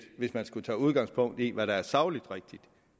hvis man skulle tage udgangspunkt i hvad der er sagligt rigtigt